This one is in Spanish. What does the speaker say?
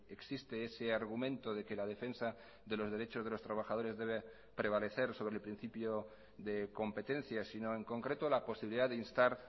existe ese argumento de que la defensa de los derechos de los trabajadores debe prevalecer sobre el principio de competencia sino en concreto la posibilidad de instar